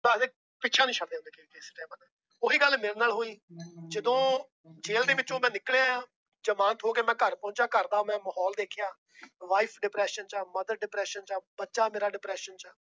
ਪਿੱਛਾ ਨੀ ਛੱਡਿਆ ਉਹੀ ਗੱਲ ਮੇਰੇ ਨਾਲ ਹੋਈ ਜਦੋਂ ਜੇਲ ਦੇ ਵਿੱਚੋਂ ਤਾਂ ਨਿਕਲ ਆਇਆ, ਜਮਾਨਤ ਹੋ ਕੇ ਮੈਂ ਘਰ ਪਹੁੰਚਾ ਘਰ ਦਾ ਮੈਂ ਮਾਹੌਲ ਦੇਖਿਆ wife depression ਚ ਆ mother depression ਚ ਆ ਬੱਚਾ ਮੇਰਾ depression ਚ ਆ।